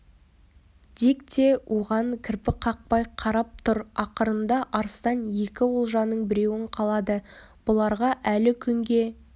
дик те оған кірпік қақпай қарап тұр ақырында арыстан екі олжаның біреуін қалады бұларға әлі күнге